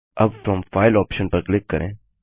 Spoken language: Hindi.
अब फ्रॉम फाइल ऑप्शन पर क्लिक करें